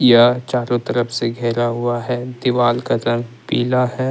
यह चारों तरफ से घेरा हुआ है दीवार का रंग पीला है।